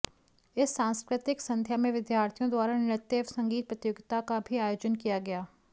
इस सांस्कृतिक संध्या में विद्यार्थियों द्वारा नृत्य एवं संगीत प्रतियोगिता का भी आयोजन किया गया